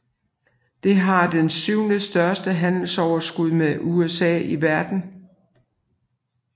Det har det syvende største handelsoverskud med USA i verden